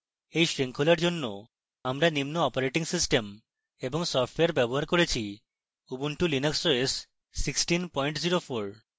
এই শৃঙ্খলার জন্য আমরা নিম্ন os এবং সফ্টওয়্যার ব্যবহার করেছি: